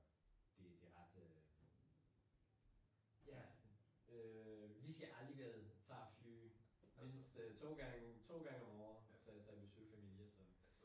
Det det ret øh ja øh vi skal alligevel tage fly mindst mindst to gange om året til til at besøge familie så